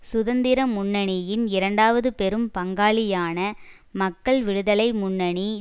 சுதந்திர முன்னணியின் இரண்டாவது பெரும் பங்காளியான மக்கள் விடுதலை முன்னணி